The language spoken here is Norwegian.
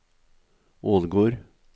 Ålgård